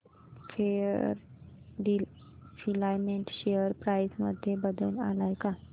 Fairdeal filament share price मध्ये बदल आलाय का